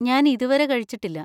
ഞാൻ ഇതുവരെ കഴിച്ചിട്ടില്ല.